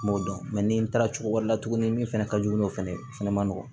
N m'o dɔn ni n taara cogo wɛrɛ la tuguni min fɛnɛ ka jugu n'o fɛnɛ ye o fɛnɛ ma nɔgɔn